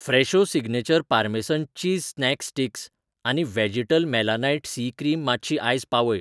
Fresho signature parmesan cheese snack sticks आनी व्हॅजीटल मेलानाइट सी क्रीम मातशी आज पावय.